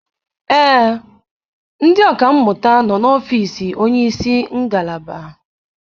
Ee, ndị ọka mmụta nọ n'ọfiisi onye isi ngalaba.